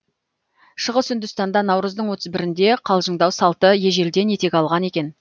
шығыс үндістанда наурыздың отыз бірінде қалжыңдау салты ежелден етек алған екен